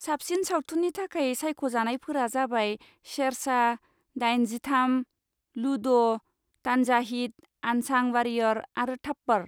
साबसिन सावथुननि थाखाय सायख'जानायफोरा जाबाय शेरशाह, दाइन जिथाम, लुड', तान्हाजीद आनसां वारियर आरो थाप्पड़।